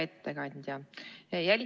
Hea ettekandja!